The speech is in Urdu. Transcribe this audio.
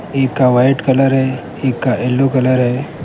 ایک کا وائٹ کلر هی ایک کا یلو کلر هی.